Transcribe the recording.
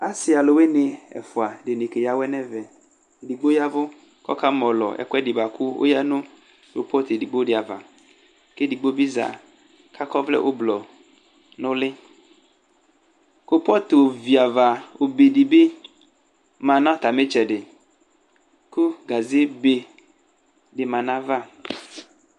Asɩ alʋwɩnɩ dɩnɩ ɛfʋa keyǝ awɛ nʋ ɛvɛ Edigbo ya ɛvʋ kʋ ɔkamɔlɔ ɛkʋɛdɩ bʋa kʋ oyǝ nʋ kopɔt edigbo dɩ ava kʋ edigbo bɩ za kʋ akɔ ɔvlɛ ʋblɔ nʋ ʋlɩ Kopɔt ovi ava obe dɩ bɩ ma nʋ atamɩ ɩtsɛdɩ kʋ gazebe dɩ ma nʋ ayava